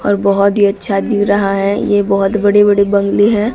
और बहोत ही अच्छा दिख रहा है ये बहोत बड़े बड़े बंगले है।